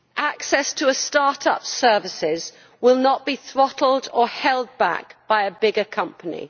Access to start up services will not be throttled or held back by a bigger company.